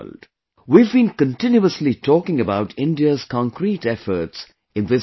We have been continuously talking about India's concrete efforts in this direction